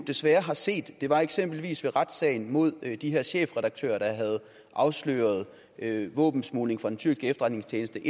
desværre har set eksempelvis ved retssagen mod de her chefredaktører der havde afsløret våbensmugling fra den tyrkiske efterretningstjeneste